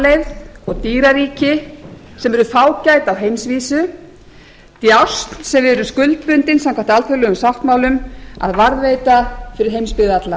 náttúruarfleifð og dýraríki sem eru fágæt á heimsvísu djásn sem eru skuldbundin samkvæmt alþjóðlegum sáttmálum að varðveita fyrir heimsbyggð alla